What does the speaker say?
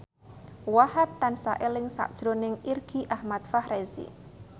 Wahhab tansah eling sakjroning Irgi Ahmad Fahrezi